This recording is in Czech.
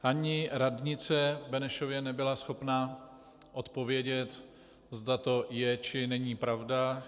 Ani radnice v Benešově nebyla schopna odpovědět, zda to je, či není pravda.